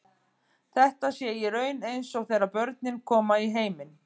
Þetta sé í raun eins og þegar börnin koma í heiminn.